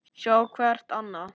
Sjá hvert annað.